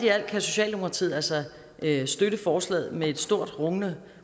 kan socialdemokratiet altså støtte forslaget med et stort rungende